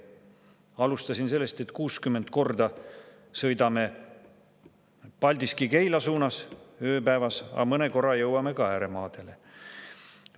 Alustasin sellest, et 60 korda ööpäevas sõidame Paldiski–Keila suunas, aga mõne korra jõuame ka ääremaadele.